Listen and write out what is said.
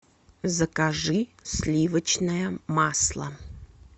закажи сливочное масло